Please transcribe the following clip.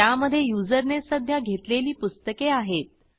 त्यामधे युजरने सध्या घेतलेली पुस्तके आहेत